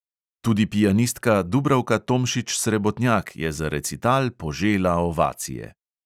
Tudi pianistka dubravka tomšič srebotnjak je za recital požela ovacije.